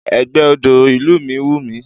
Ẹgbẹ́ ọ̀dọ́ ìlú mi wùmí